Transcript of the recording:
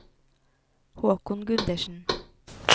Håkon Gundersen